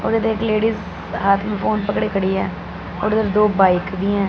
और ये देख लेडीज हाथ में फोन पकड़े खड़ी है और उधर दो बाइक भी हैं।